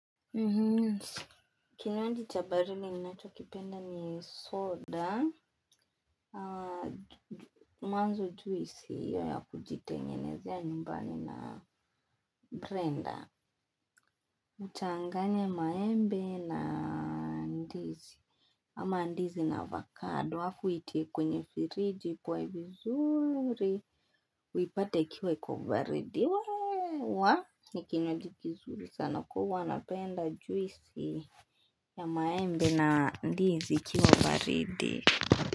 Kinywaji chabarili ni nacho kipenda ni soda Mwanzo juisi ya kujitengenezea numbani na brenda. Uchanganye maembe na ndizi. Ama ndizi na avocado hafu iti kwenye firidi kwa ivizuri. Wipate kiwa iko variedi wa ni kinywaji kizuri sana kua wanapenda juisi. Ya maembe na ndizi ikiwa baridi.